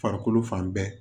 Farikolo fan bɛɛ